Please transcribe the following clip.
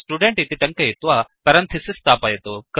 student इति टङ्कयित्वा parenthesis स्थापयतु